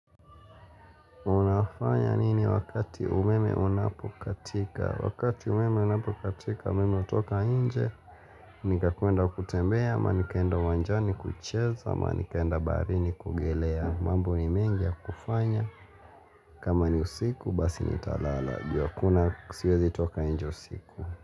Unafanya nini wakati umeme unapo katika? Wakati umeme unapo katika umeme utoka inje ni kakuenda kutembea ama nikaenda wanjani kucheza ama nikaenda baharini kuogelea. Mambo ni mengi ya kufanya. Kama ni usiku basi nitalala. Kuna siwezi toka inje usiku.